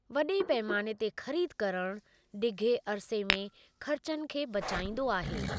वॾे पैमाने ते ख़रीद करणु डिघे अरिसे में ख़र्चनि खे बचाईंदो आहे।